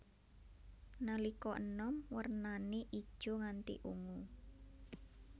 Nalika enom wernané ijo nganti ungu